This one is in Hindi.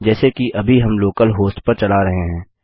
जैसे कि अभी हम लोकल होस्ट पर चला रहे हैं